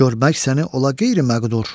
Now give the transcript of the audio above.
görmək səni ola qeyri-məqdur.